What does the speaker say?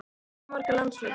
Of marga landsleiki?